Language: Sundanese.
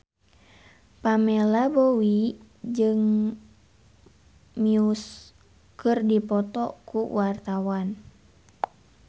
Pamela Bowie jeung Muse keur dipoto ku wartawan